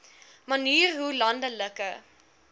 manier hoe landelike